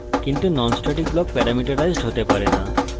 কিন্তু non static block parameterized হতে পারে না